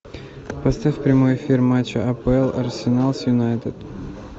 поставь прямой эфир матча апл арсенал с юнайтед